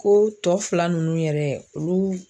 Ko tɔ fila nunnu yɛrɛ olu